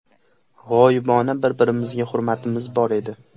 G‘oyibona bir-birimizga hurmatimiz bor edi.